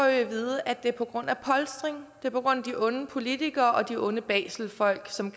at vide at det er på grund af polstring det er på grund af de onde politikere og de onde baselfolk som